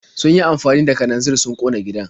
Sun yi amfani da kananzir sun ƙona gidan.